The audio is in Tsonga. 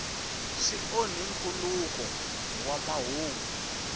swi onhi nkhuluko wa mahungu